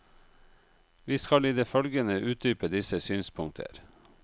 Vi skal i det følgende utdype disse synspunkter.